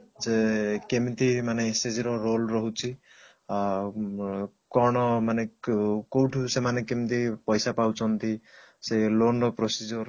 ଯେ କେମିତି ମାନେ SHG ର role ରହୁଛି ଆଉ ଉଁ କଣ ମାନେ କ କଉଠୁ ସେମାନେ କେମତି ପଇସା ପାଉଛନ୍ତି ସେ loan ର procedure